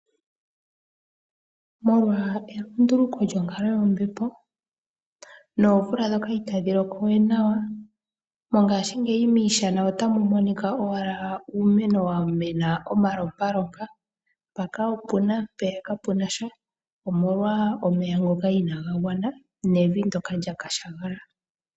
Molwa elunduluko lyonkalo yombepo nomvula ndjoka itayi loko we nawa, mongashingeyi miishana otamu monika owala uumeno wa mena omalompalompa, mpaka opu na mpeya kapu na sha, omolwa omeya ngoka inaaga gwana nevi ndyoka lya kukuta.